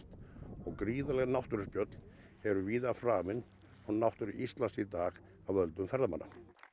og gríðarleg náttúruspjöll eru víða framin á náttúru Íslands í dag af völdum ferðamanna